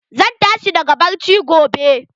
Zan tashi daga bacci gobe.